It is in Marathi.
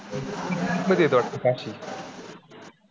कुठं येतं होतं काशी?